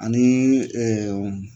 Ani